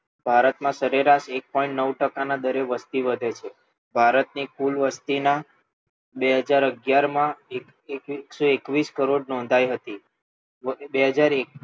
ભારતમાં સરેરાશ એક પોઇન્ટ નવ ટકાના દરે વસ્તી વધે છે ભારતની કુલ વસતી બે હાજર અગ્યારમાં એકસો એકવીસ કરોડ નોંધાઈ હતી બે હાજર એક